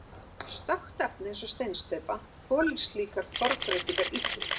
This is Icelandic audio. Stökkt efni eins og steinsteypa þolir slíkar formbreytingar illa.